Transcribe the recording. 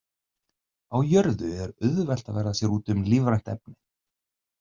Á jörðu er auðvelt að verða sér úti um lífrænt efni.